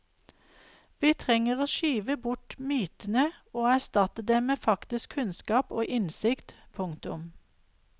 Vi trenger å skyve bort mytene og erstatte dem med faktisk kunnskap og innsikt. punktum